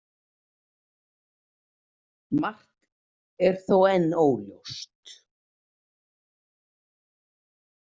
Margt er þó enn óljóst.